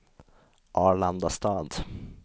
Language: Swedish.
Arlandastad